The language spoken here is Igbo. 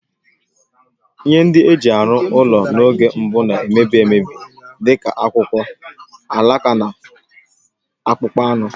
Ihe ndị e ji arụ ụlọ n'oge mbụ na-emebi emebi, dị ka akwụkwọ, alaka, na akpụkpọ anụ.